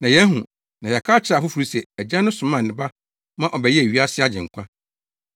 Na yɛahu, na yɛaka akyerɛ afoforo se Agya no somaa ne Ba ma ɔbɛyɛɛ wiase Agyenkwa.